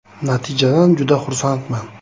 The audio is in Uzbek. Natijadan juda xursandman.